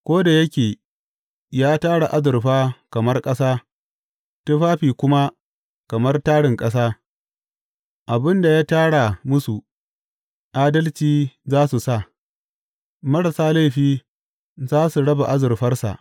Ko da yake ya tara azurfa kamar ƙasa, tufafi kuma kamar tarin ƙasa, abin da ya tara masu adalci za su sa marasa laifi za su raba azurfarsa.